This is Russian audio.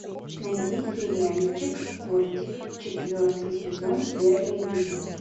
найди сериальчик кортик четвертый сезон первый эпизод